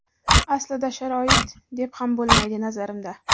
Aslida sharoit, deb ham bo‘lmaydi, nazarimda.